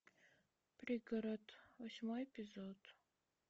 пригород восьмой эпизод